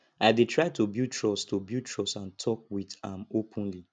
i dey try to build trust to build trust and talk with am openly